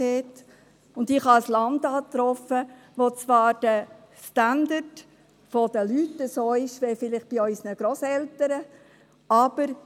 Ich habe ein Land angetroffen, in dem zwar der Standard der Leute vielleicht so ist, wie er bei unseren Grosseltern war.